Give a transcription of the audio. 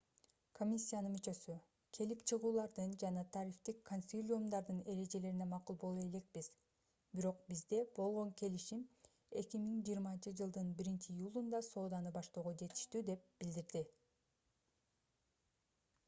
комиссиянын мүчөсү келип чыгуулардын жана тарифтик консилиумдардын эрежелерине макул боло элекпиз бирок бизде болгон келишим 2020-жылдын 1-июлунда сооданы баштоого жетиштүү деп билдирди